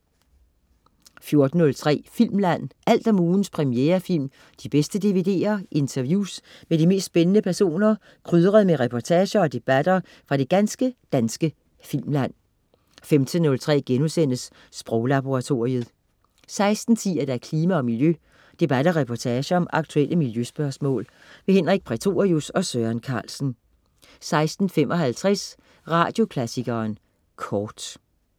14.03 Filmland. Alt om ugens premierefilm, de bedste DVD'er, interviews med de mest spændende personer, krydret med reportager og debatter fra det ganske danske filmland 15.03 Sproglaboratoriet* 16.10 Klima og Miljø. Debat og reportage om aktuelle miljøspørgsmål. Henrik Prætorius og Søren Carlsen 16.55 Radioklassikeren Kort